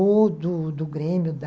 Ou do do Grêmio da...